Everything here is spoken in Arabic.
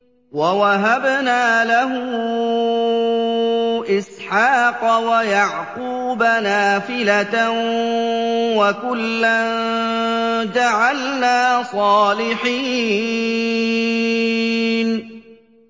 وَوَهَبْنَا لَهُ إِسْحَاقَ وَيَعْقُوبَ نَافِلَةً ۖ وَكُلًّا جَعَلْنَا صَالِحِينَ